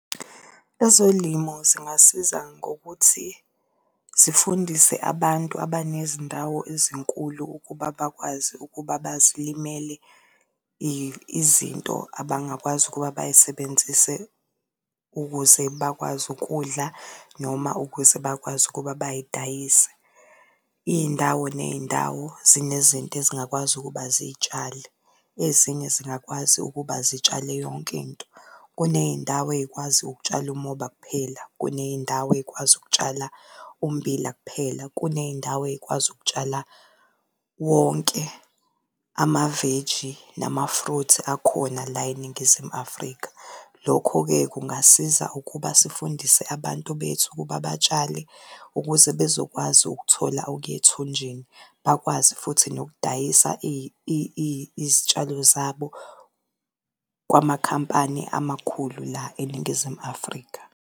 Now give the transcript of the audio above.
Ezolimo zingasiza ngokuthi, zifundise abantu abanezindawo ezinkulu ukuba bakwazi ukuba bazilimele izinto abangakwazi ukuba bay'sebenzise ukuze bakwazi ukudla noma ukuze bakwazi ukuba bayidayise. Iy'ndawo ney'ndawo zinezinto ezingakwazi ukuba zitshale, ezinye zingakwazi ukuba zitshale yonkinto. Kuney'ndawo ey'kwazi ukutshala umoba kuphela, kuney'ndawo ey'kwazi ukutshala ummbila kuphela, kuney'ndawo okwazi ukutshala wonke ama-veggie nama-fruit akhona la eNingizimu Afrika. Lokho-ke kungasiza ukuba sifundise abantu bethu ukuba batshale ukuze bezokwazi ukuthola okuya ethunjini. Bakwazi futhi nokudayisa izitshalo zabo kwamakhampani amakhulu la eNingizimu Afrika.